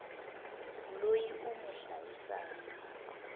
loyi u n wi hlayisaka